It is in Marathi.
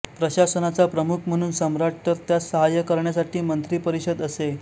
प्रशासनाचा प्रमुख म्हणून सम्राट तर त्यास साहाय्य करण्यासाठी मंत्रिपरिषद असे